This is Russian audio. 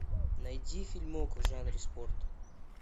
найди фильмок в жанре спорт